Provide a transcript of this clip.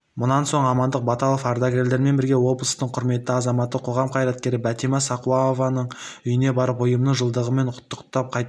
мұнан соң амандық баталов ардагерлермен бірге облыстың құрметті азаматы қоғам қайраткері бәтима сақауованың үйіне барып ұйымның жылдығымен құттықтап қайтты